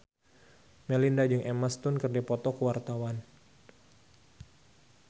Melinda jeung Emma Stone keur dipoto ku wartawan